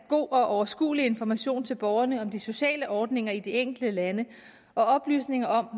god og overskuelig information til borgerne om de sociale ordninger i de enkelte lande og oplysninger